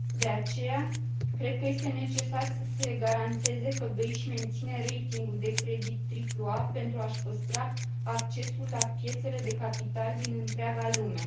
De aceea, cred că este necesar să se garanteze că BEI își menține ratingul de credit AAA, pentru a și păstra accesul la piețele de capital din întreaga lume.